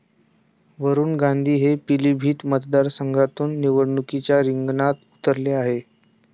वरुण गांधी हे पिलीभीत मतदारसंघातून निवडणुकीच्या रिंगणात उतरले आहेत.